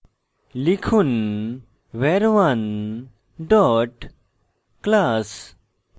লিখুন var1 dot class